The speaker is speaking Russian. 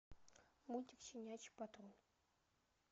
мультик щенячий патруль